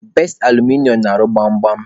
Best Alụmịnịo na-arụ gbam gbam.